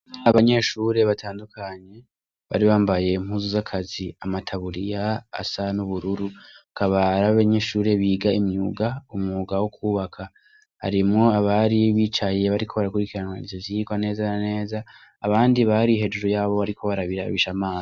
Abanyeshure batandukanye bari bambaye mpuzu z'akazi amataburiya asa n'ubururu akabara abanyeshure biga imyuga umuga wo kwubaka harimwo abari bicaye bariko baragurikiranwa ivyo vyirwa neza neza abandi bari hejuru yabo bariko barabirabishaamana.